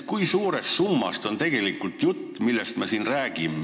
Kui suurest summast on juttu, millest me siin räägime?